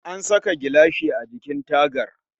An saka gilashi a jikin tagar